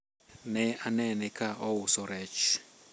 ne anene ka ouso rech